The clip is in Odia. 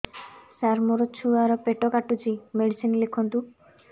ସାର ମୋର ଛୁଆ ର ପେଟ କାଟୁଚି ମେଡିସିନ ଲେଖନ୍ତୁ